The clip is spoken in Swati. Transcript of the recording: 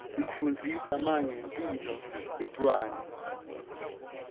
is ifundzisa mange mphilo yetrwane